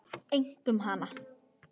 Einkum hana.